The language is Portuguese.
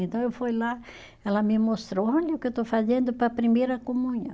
Então eu fui lá, ela me mostrou, olha o que eu estou fazendo para a primeira comunhão.